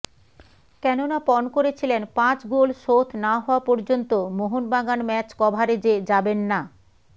কেননা পণ করেছিলেন পাঁচ গোল শোধ না হওয়া পর্যন্ত মোহনবাগান ম্যাচ কভারেজে যাবেন না